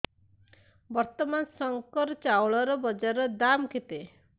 ବର୍ତ୍ତମାନ ଶଙ୍କର ଚାଉଳର ବଜାର ଦାମ୍ କେତେ